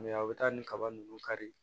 a bɛ taa nin kaba ninnu kari